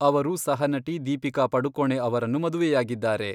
ಅವರು ಸಹನಟಿ ದೀಪಿಕಾ ಪಡುಕೋಣೆ ಅವರನ್ನು ಮದುವೆಯಾಗಿದ್ದಾರೆ.